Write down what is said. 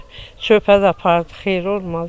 Çörəyi də apardı, xeyri olmadı.